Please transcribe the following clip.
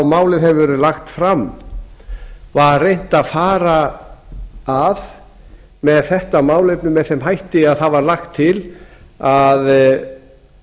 málið hefur verið lagt fram var reynt að fara að með þetta málefni með þeim hætti að það var lagt til að